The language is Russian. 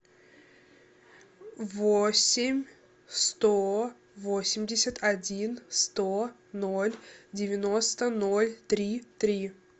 восемь сто восемьдесят один сто ноль девяносто ноль три три